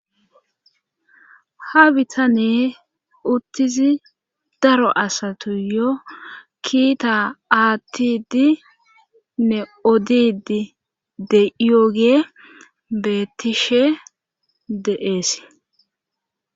Ha bitanee uttizi daro asatu yo kiita aattidi nne odidi de yogee beettishe de7ees.